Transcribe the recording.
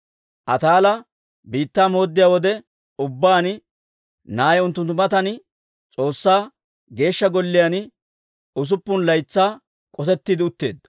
Ataala biittaa mooddiyaa wode ubbaan, na'ay unttunttu matan S'oossaa Geeshsha Golliyaan usuppun laytsaa k'osettiide utteedda.